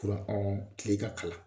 Kuran ɔn kile ka kalan